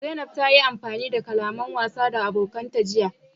Zanaib ta yi amfani da kalaman wasa da abokanta jiya.